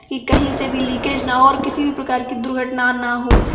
कि कहीं से भी लीकेज ना हो और किसी प्रकार की दुर्घटना ना हो।